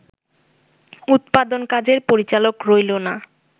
উৎপাদন কাজের পরিচালক রইলো না